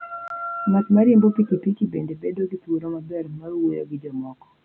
Ng'at ma riembo pikipiki bende bedo gi thuolo maber mar wuoyo gi jomoko.